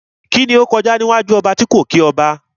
Kíni ó kọjá níwájú ọba tí kò kí ọba?